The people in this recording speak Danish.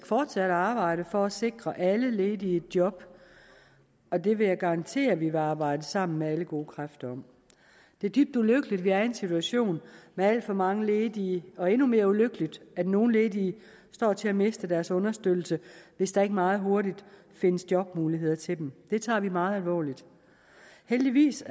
fortsat at arbejde for at sikre alle ledige et job og det vil jeg garantere at vi vil arbejde sammen med alle gode kræfter om det er dybt ulykkeligt at vi er i en situation med alt for mange ledige og endnu mere ulykkeligt at nogle ledige står til at miste deres understøttelse hvis der ikke meget hurtigt findes jobmuligheder til dem det tager vi meget alvorligt heldigvis